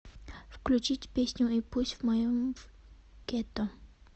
включить песню и пусть в моем гетто